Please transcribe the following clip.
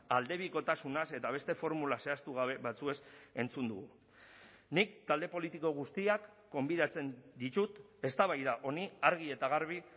aldebikotasunaz eta beste formula zehaztugabe batzuez entzun dugu nik talde politiko guztiak gonbidatzen ditut eztabaida honi argi eta garbi